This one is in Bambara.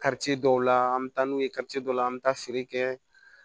dɔw la an bɛ taa n'u ye la an bɛ taa feere kɛ